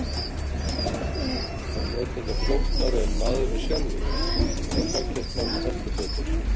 En er það flóknara en maðurinn sjálfur? Þá flækjast málin heldur betur.